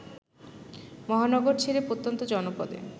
মহানগর ছেড়ে প্রত্যন্ত জনপদে